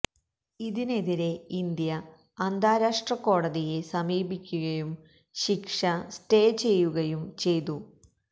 ഇതിനെതിരെ ഇന്ത്യ അന്താരാഷ്ട്ര കോടതിയെ സമീപിക്കുകയും ശിക്ഷ സ്റ്റേറ്റേ ചെയ്യുകയും ചെയ്തു